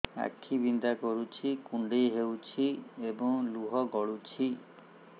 ଆଖି ବିନ୍ଧା କରୁଛି କୁଣ୍ଡେଇ ହେଉଛି ଏବଂ ଲୁହ ଗଳୁଛି